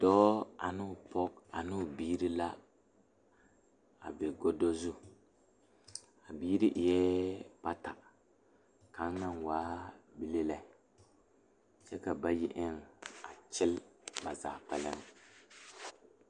Dɔɔ ane o pɔge ne ba biiri la be gɔdo zu a biiri eɛ bata kaŋa naŋ kaa bile lɛ kyɛ ka bayi eŋ a kyɛle bazaa.